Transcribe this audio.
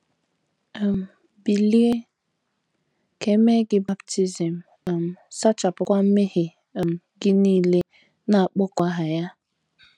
um bilie, ka e mee gị baptism um, sachapụkwa mmehie um gị nile, na - akpọku aha Ya. ”